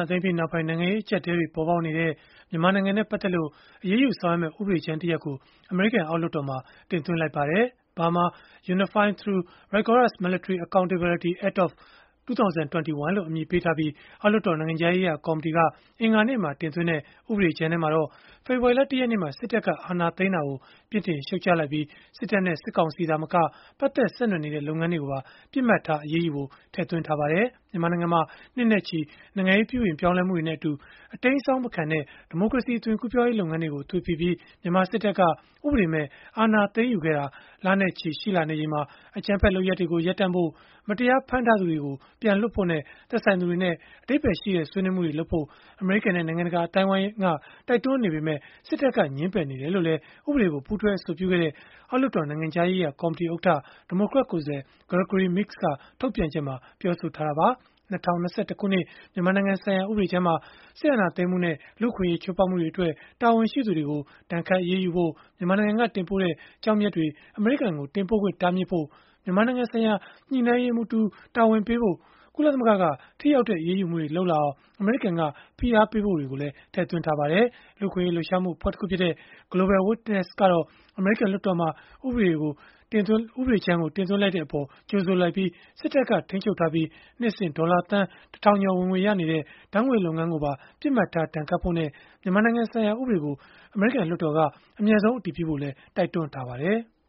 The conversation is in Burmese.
ာသိမ်းပြီးနောက်ပိုင်း နိုင်ငံရေး အကျပ်အတည်းတွေ ပေါ်ပေါက်နေတဲ့ မြန်မာနိုင်ငံနဲ့ ပတ်သက်လို့ အရေးယူဆောင်ရွက်မယ့် ဥပဒေကြမ်းတရပ်ကို အမေရိကန် အောက်လွှတ်တော်မှာ တင်သွင်းလိုက်ပါတယ်။ “Burma Unified through Rigorous Military Accountability Act of 2021” လို့ အမည်ပေးထားပြီး အောက်လွှတ်တော် နိုင်ငံခြားရေးရာ ကော်မတီက အင်္ဂါနေ့မှာ တင်သွင်းလိုက်တဲ့ ဥပဒေကြမ်းမှာတော့ ဖေဖော်ဝါရီလ ၁ ရက်နေ့မှာ စစ်တပ်က အာဏာသိမ်းတာကို ပြစ်တင်ရှုတ်ချလိုက်ပြီး စစ်တပ်နဲ့ စစ်ကောင်စီ သာမက ပတ်သက်ဆက်နွယ်နေတဲ့ လုပ်ငန်းတွေကိုပါ ပစ်မှတ်ထား အရေးယူဖို့ ထည့်သွင်းထားပါတယ်။ မြန်မာနိုင်ငံမှာ နှစ်နဲ့ချီ နိုင်ငံရေးပြုပြင်ပြောင်းလဲမှုတွေနဲ့အတူ အတိမ်းအစောင်း မခံတဲ့ ဒီမိုကရေစီ အသွင်ကူးပြောင်းရေး လုပ်ငန်းတွေကို သွေဖည်ပြီး မြန်မာစစ်တပ်က ဥပဒေမဲ့ အာဏာသိမ်းယူခဲ့တာ လနဲ့ချီရှိလာနေချိန်မှာ အကြမ်းဖက်လုပ်ရပ်တွေကို ရပ်တန့်ဖို့၊ မတရားဖမ်းထားသူတွေ ပြန်လွှတ်ဖို့နဲ့ သက်ဆိုင်သူတွေနဲ့ အဓိပ္ပါယ်ရှိတဲ့ ဆွေးနွေးမှုတွေလုပ်ဖို့ အမေရိကန်နဲ့ နိုင်ငံတကာ အသိုင်းအဝန်းရဲ့ တိုက်တွန်းနေပေမဲ့ စစ်တပ်က ငြင်းပယ်နေတယ်လို့လည်း ဥပဒေကို ပူးတွဲအဆိုပြုခဲ့တဲ့ အောက်လွှတ်တော် နိုင်ငံခြားရေးရာ ကော်မတီဥက္ကဋ္ဌ ဒီမိုကရက်ကိုယ်စားလှယ် Gregory Meeks က ထုတ်ပြန်ချက်မှာ ပြောဆိုခဲ့တာပါ။ ၂၀၂၁ ခုနှစ် မြန်မာနိုင်ငံဆိုင်ရာ ဥပဒေကြမ်းမှာတော့ စစ်အာဏာသိမ်းမှုနဲ့ လူ့အခွင့်အရေး ချိုးဖောက်မှုတွေအတွက် တာဝန်ရှိသူတွေကို ဒဏ်ခတ်အရေးယူဖို့၊ မြန်မာနိုင်ငံက တင်ပို့တဲ့ ကျောက်မျက်တွေ အမေရိကန်ကို တင်ပို့ခွင့် တားမြစ်ဖို့၊ မြန်မာနိုင်ငံဆိုင်ရာ ညှိနှိုင်းရေးမှူးကို တာဝန်ပေးဖို့ ကုလသမဂ္ဂက ထိရောက်တဲ့ အရေးယူမှုတွေလုပ်အောင် အမေရိကန်က ဖိအားပေးဖို့တွေ ထည့်သွင်းထားပါတယ်။ လူ့အခွင့်အရေး လှုပ်ရှားမှု အဖွဲ့တခုဖြစ်တဲ့ Global Witness ကတော့ အမေရိကန် လွှတ်တော်မှာ ဥပဒေတင်သွင်းလိုက်တဲ့အပေါ် ကြိုဆိုလိုက်ပြီး စစ်တပ်က ထိန်းချုပ်ထားပြီး နှစ်စဉ် ဒေါ်လာသန်း ၁,၀၀၀ ကျော် ဝင်ငွေရနေတဲ့ ဓာတ်ငွေ့လုပ်ငန်းကိုပါ ပစ်မှတ်ထား ဒဏ်ခတ်ဖို့နဲ့ မြန်မာနိုင်ငံဆိုင်ရာ ဥပဒေကို အမြန်ဆုံး အတည်ပြုဖို့လည်း တိုက်တွန်းထားပါတယ်။